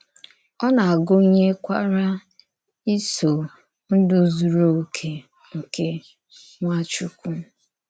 Ọ na-agụ́nyèkwarà ìsò ndú zùrù òkè nke Nwàchùkwù.